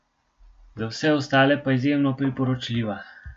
Za vse ostale pa izjemno priporočljiva.